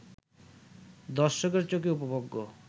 দর্শকের চোখে উপভোগ্য